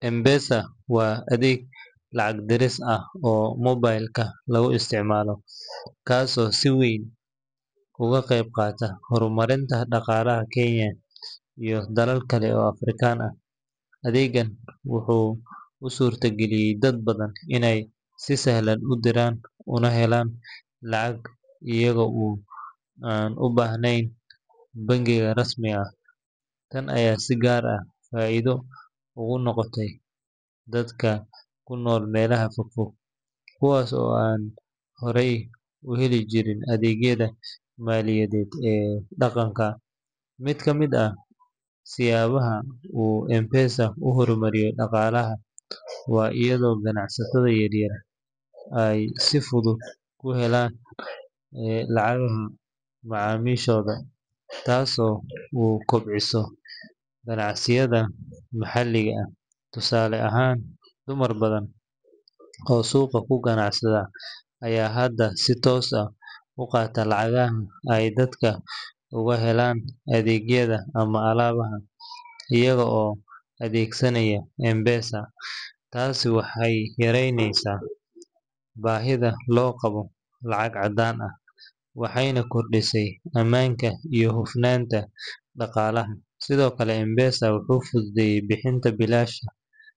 M-Pesa waa adeeg lacag diris ah oo moobilka lagu isticmaalo, kaas oo si weyn uga qayb qaatay horumarinta dhaqaalaha Kenya iyo dalal kale oo Afrikaan ah. Adeegan wuxuu u suurtageliyay dad badan inay si sahlan u diraan una helaan lacag iyaga oo aan u baahnayn bangiyo rasmi ah. Tan ayaa si gaar ah faa'iido ugu noqotay dadka ku nool meelaha fogfog, kuwaas oo aan hore u heli jirin adeegyada maaliyadeed ee dhaqanka. Mid ka mid ah siyaabaha uu M-Pesa u horumariyay dhaqaalaha waa iyadoo ganacsatada yaryar ay si fudud ku heli karaan lacagaha macaamiishooda, taas oo kobcisay ganacsiyada maxalliga ah. Tusaale ahaan, dumar badan oo suuqa ku ganacsada ayaa hadda si toos ah u qaata lacagaha ay dadka uga helaan adeegyada ama alaabada, iyaga oo adeegsanaya M-Pesa. Taasi waxay yaraysay baahida loo qabo lacag caddaan ah, waxayna kordhisay ammaanka iyo hufnaanta dhaqaalaha. Sidoo kale, M-Pesa wuxuu fududeeyay bixinta biilasha.